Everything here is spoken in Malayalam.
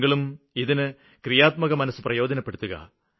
താങ്കളും ഇതിന് ക്രിയാത്മകമനസ്സ് പ്രയോജനപ്പെടുത്തുക